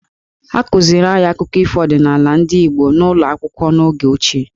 A kụziri anyị akụkọ ọdịnaala ndị Igbo n'ụlọ akwụkwọ n'oge ochie.